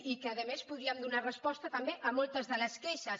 i que a més podríem donar resposta també a moltes de les queixes